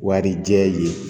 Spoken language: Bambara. Warijɛ ye